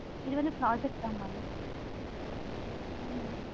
இது வந்து project தான் mam